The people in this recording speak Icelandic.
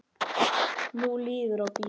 Nú líður og bíður.